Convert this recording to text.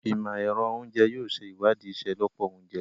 Imọ-ẹrọ Oúnjẹ yóò ṣe iwadii iṣelọpọ ounjẹ